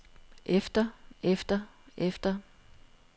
efter efter efter